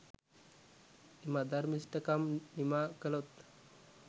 එම අධර්මිෂ්ඨකම් නිමා කළොත්